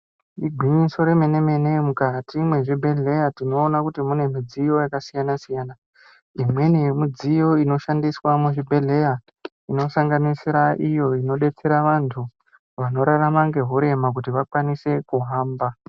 Igwinyiso yemene mene mukati mezvibhedhleya tinoone imweni yemidziyo inoshande muzvibhedhleya inosanganisira iyo inodetsere antu anorarama ngehurema kuti vakwanise kuhamba .